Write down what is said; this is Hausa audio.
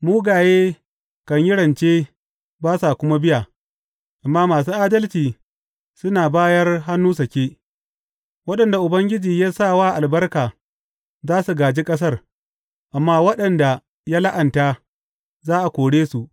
Mugaye kan yi rance ba sa kuma biya, amma masu adalci suna bayar hannu sake; waɗanda Ubangiji ya sa wa albarka za su gāji ƙasar, amma waɗanda ya la’anta, za a kore su.